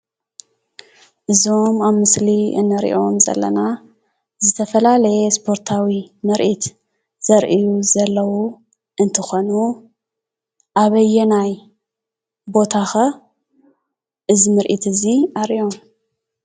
እዞም ኣብ ምስሊ እንሪኦም ዘለና ዝተፈላለየ ስፖርታዊ ምርኢት ዘርእዩ ዘለው እንትኮኾኑ ኣበየና ቦታ ኸ እዚ ምርኢት እዚ ኣርእዮም ?